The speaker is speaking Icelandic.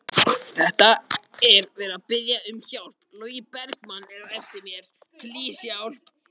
Gigg hér og gigg þar.